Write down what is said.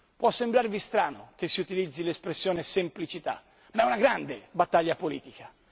Può sembrarvi strano che si utilizzi l'espressione semplicità ma è una grande battaglia politica.